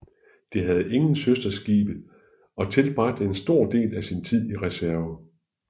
Det havde ingen søsterskibe og tilbragte en stor del af sin tid i reserve